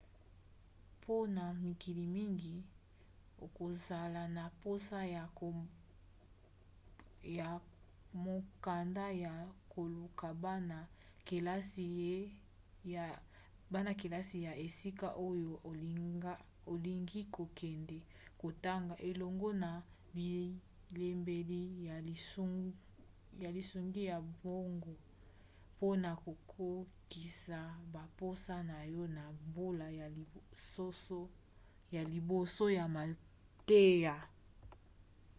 mpona mikili mingi okozala na mposa ya mokanda ya koluka bana-kelasi ya esika oyo olingi kokende kotanga elongo na bilembeteli ya lisungi ya mbongo mpona kokokisa bamposa na yo na mbula ya liboso ya mateya